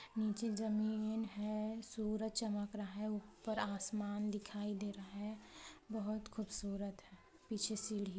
--नीचे जमीन है सूरज चमक रहा है ऊपर आसमान दिखाई दे रहा है बहोत खूबसूरत है पीछे सीढ़ी है।